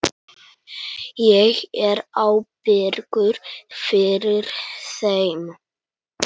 Ég er ábyrgur fyrir þeim.